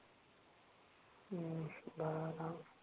हम्म